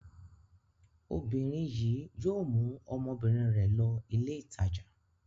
Obìnrin yìí yóò mú ọmọbìnrin rẹ̀ lọ ilé-ìtajà.